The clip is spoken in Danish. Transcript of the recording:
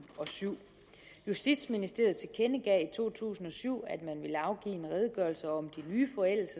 og syv justitsministeriet tilkendegav i to tusind og syv at man ville afgive en redegørelse om de nye